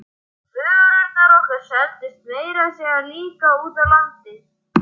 Vörurnar okkar seldust meira að segja líka úti á landi.